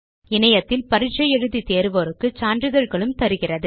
இணையத்தில் பரிட்சை எழுதி தேர்வோருக்கு சான்றிதழ்களும் தருகிறது